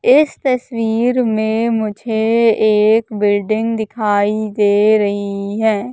इस तस्वीर में मुझे एक बिल्डिंग दिखाई दे रही है।